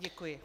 Děkuji.